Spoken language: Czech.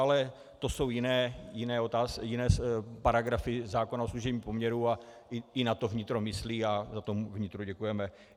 Ale to jsou jiné paragrafy zákona o služebním poměru a i na to vnitro myslí a za to vnitru děkujeme.